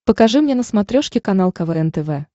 покажи мне на смотрешке канал квн тв